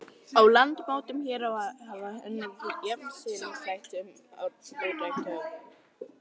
Að landmótun hér á landi hafa unnið jafnt innræn sem útræn öfl.